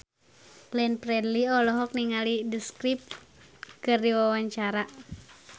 Glenn Fredly olohok ningali The Script keur diwawancara